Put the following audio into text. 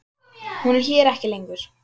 Hún er hér ekki lengur.